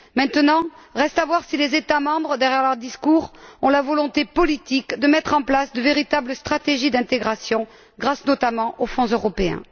Maintenant, reste à savoir si les États membres, derrière leurs discours, ont la volonté politique de mettre en place de véritables stratégies d'intégration grâce, notamment, aux fonds européens.